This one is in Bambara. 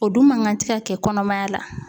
O dun man kan tɛ ka kɛ kɔnɔmaya la